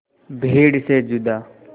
भीड़ से जुदा